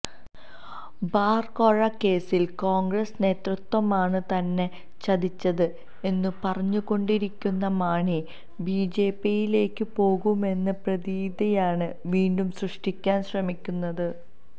bar കോഴക്കേസില് കോണ്ഗ്രസ് നേതൃത്വമാണ് തന്നെ ചതിച്ചത് എന്നു പറഞ്ഞുകൊണ്ടിരിക്കുന്ന മാണി ബിജെപിയിലേക്കു പോകുമെന്ന പ്രതീതിയാണ് വീണ്ടും സൃഷ്ടിക്കാന് ശ്രമിക്കുന്നത്